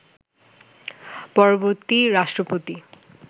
পরবর্তী রাষ্ট্রপতি